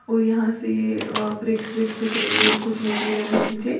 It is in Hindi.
कोई यहां से अ ब्रिक्स विक्स दिख रही है और कुछ मटेरियल है नीचे।